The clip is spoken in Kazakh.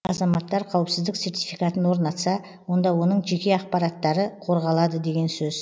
азаматтар қауіпсіздік сертификатын орнатса онда оның жеке ақпараттары қорғалады деген сөз